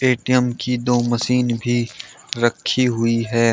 ATM की दो machine भी रखी हुई है।